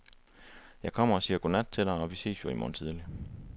Jeg kommer og siger godnat til dig og, vi ses jo i morgen tidlig.